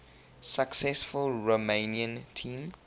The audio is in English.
successful romanian team